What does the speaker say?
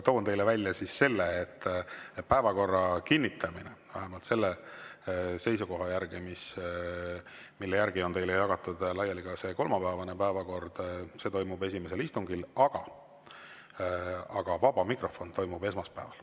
Toon teile välja selle, et päevakorra kinnitamine toimub – vähemalt selle seisukoha järgi, mille järgi on teile jagatud laiali ka see kolmapäevane päevakord – esimesel istungil, aga vaba mikrofon toimub esmaspäeval.